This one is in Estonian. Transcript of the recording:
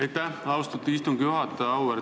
Aitäh, austatud istungi juhataja!